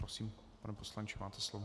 Prosím, pane poslanče, máte slovo.